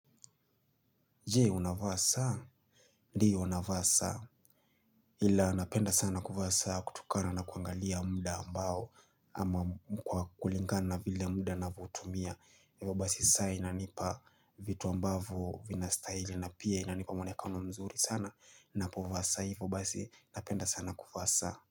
Je, unafaa saa ndiyo nafaa saa ila napenda sana kufaa saa kutukana na kuangalia muda ambao kwa kulingana na vile muda na votumia hivyo basi saa inanipa vitu ambavo vina sitahili na pia inanipa mwonekano mzuri sana napofaa saa hivyo basi napenda sana kufaa saa.